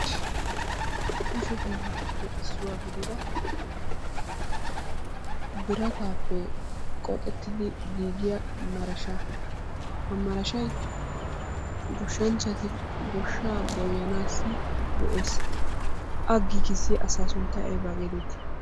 Kushe hiilatuppe issuwa gidida biratappe qoxxettidi giigiya marashaa, ha marashay goshshanchati goshshaa goyanaassi go'ees. A giggisiya asaa sunttay aybaa getetti?